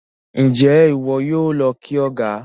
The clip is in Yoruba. Njé iwọ yóò ló kí ọgá?